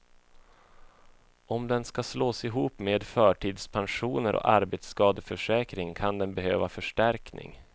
Om den ska slås ihop med förtidspensioner och arbetsskadeförsäkring kan den behöva förstärkning.